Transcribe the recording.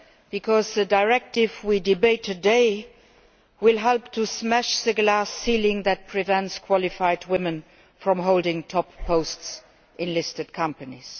because the Directive we are debating today will help to smash the glass ceiling that prevents qualified women from holding top posts in listed companies.